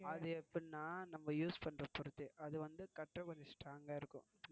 அது எப்படின்னா நம்ம use பண்றத பொறுத்து அது வந்து கட்ட கொஞ்சம் strong ஆஹ் இருக்கும்.